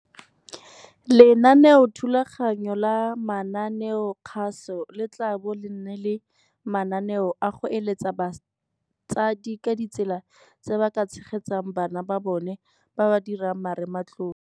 Lenaneothulaganyo la mananeokgaso le tla bo le na le mananeo a go eletsa batsadi ka ditsela tse ba ka tshegetsang bana ba bona ba ba dirang Marematlou.